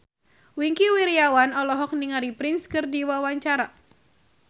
Wingky Wiryawan olohok ningali Prince keur diwawancara